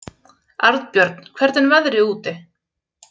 Arnbjörn, hvernig er veðrið úti?